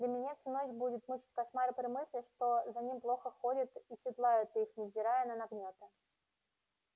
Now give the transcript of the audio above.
да меня всю ночь будут мучить кошмары при мысли что за ними плохо ходят и седлают их невзирая на нагнёты